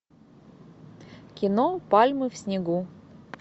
кино пальмы в снегу